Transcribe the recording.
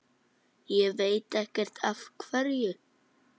Ég veit ekkert af hverju.